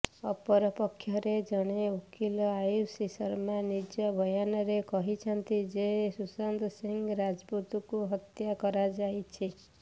ଅପରପକ୍ଷରେ ଜଣେ ଓକିଲ ଆୟୁଷୀ ଶର୍ମା ନିଜ ବୟାନରେ କହିଛନ୍ତି ଯେ ସୁଶାନ୍ତ ସିଂ ରାଜପୁତଙ୍କୁ ହତ୍ୟା କରାଯାଇଛି